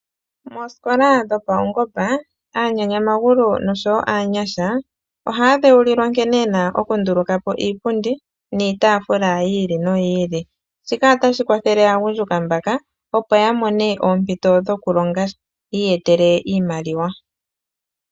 Mosikola dho paungomba aanyanyamagulu nosho wo aanyasha ohaya dhewulilwa nkene yena okunduluka poiipundi niitafula yi ili noyi ili, shika otashi kwathele aagundjuka mbaka opo yamone oompito dhokulonga yi iyetele iimaliwa.